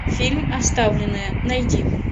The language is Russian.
фильм оставленная найди